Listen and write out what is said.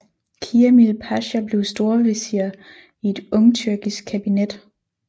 Kiamil Pasha blev storvesir i et ungtyrkisk kabinet